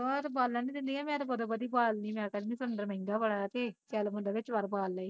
ਉਹ ਤਾਂ ਬਾਲਣ ਨੀ ਦਿੰਦੀਆ ਮੈਂ ਤੇ ਬਦੋ ਬਦੀ ਬਾਲਦੀ ਮੈਂ ਕਹਿ ਦਿੰਦੀ ਸਲੰਡਰ ਮਹਿੰਗਾ ਬੜਾ ਐ ਤੇ ਕੇ ਤੇ ਕਦੇ ਬੰਦਾ ਬਾਲ ਲਏ